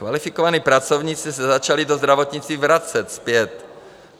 Kvalifikovaní pracovníci se začali do zdravotnictví vracet zpět.